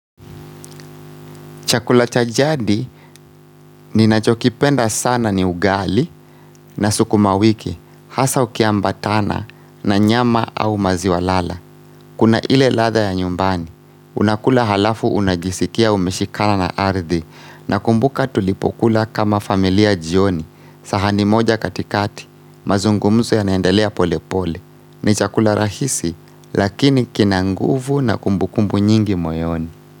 Chakula cha jadi ninachokipenda sana ni ugali na sukuma wiki, hasa ukiambatana na nyama au maziwa lala. Kuna ile latha ya nyumbani, unakula halafu unajisikia umeshikana na ardhi nakumbuka tulipo kula kama familia jioni. Sahani moja katikati, mazungumzo yanaendelea pole pole. Ni chakula rahisi, lakini kina nguvu na kumbukumbu nyingi moyoni.